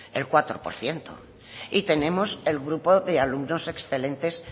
el cuatro por ciento y tenemos el grupo de alumnos excelentes